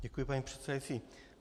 Děkuji, paní předsedající.